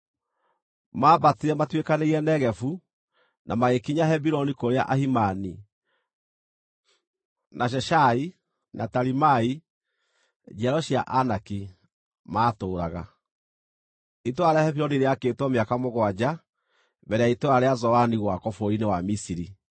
Mambatire matuĩkanĩirie Negevu na magĩkinya Hebironi kũrĩa Ahimani, na Sheshai, na Talimai, njiaro cia Anaki, maatũũraga. (Itũũra rĩa Hebironi rĩakĩtwo mĩaka mũgwanja mbere ya itũũra rĩa Zoani gwakwo bũrũri-inĩ wa Misiri.)